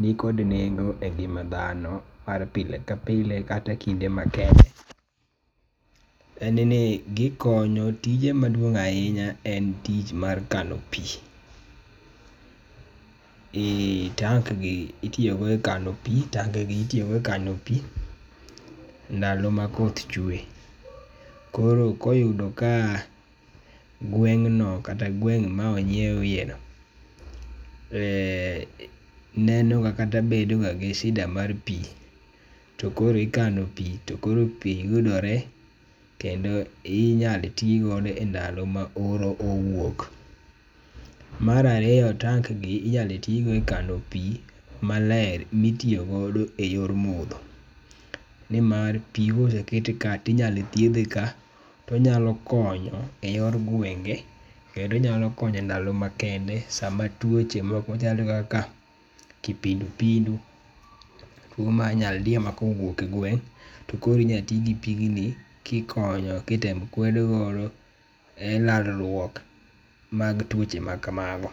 nikod nengo engima dhano mar pile ka pile kata ekinde ma kende en ni gikonyo. Tije maduong' ahinya en tich mar kano pi. Eh tank gi itiyogo e kano pi tange gi itiyogo ekano pi ndalo ma koth chwe koro ka oyudo ka gweng'no kata gweng' ma onyieweno, eh neno ka kata bedoga gi shida mar pi to koro ikano pi to koro pi yudore kendo inyalo ti godo endalo ma oro owuok. Mar ariyo, tank gi inyalo ti godo e kano pi maler minyalo ti godo eyor modho. Nimar pi koseket ka to inyalo thiedhe ka to onyalo konyo eyor gwenge kendo onyalo konyo endalo makende sama tuoche moko machalo kaka kipindupindu tuo mar nyaldiemakowuok e gweng' to koro inyalo ti gipigni kikonyo kitemo kwed godo elalruok mag tuoche ma kamago.